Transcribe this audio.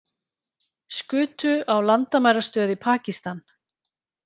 Skutu á landamærastöð í Pakistan